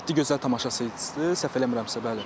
Yeddi gözəl tamaşaçısı idi səhv eləmirəmsə, bəli.